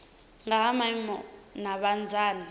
nga ha maimo na vhunzani